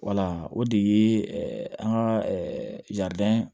Wala o de ye an ka